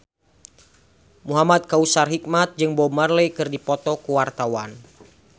Muhamad Kautsar Hikmat jeung Bob Marley keur dipoto ku wartawan